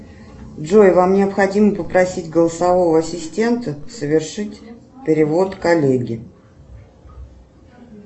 джой вам необходимо попросить голосового ассистента совершить перевод коллеге